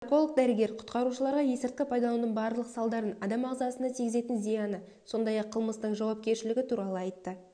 нарколог-дәрігер құтқарушыларға есірткі пайдаланудың барлық салдарын адам ағзасына тигізетін зияны сондай-ақ қылмыстық жауапкершілігі туралы айтты